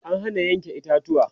an Hana Yanke itatuwa